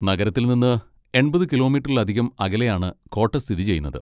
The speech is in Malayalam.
നഗരത്തിൽ നിന്ന് എൺപത് കിലോമീറ്ററിലധികം അകലെയാണ് കോട്ട സ്ഥിതി ചെയ്യുന്നത്.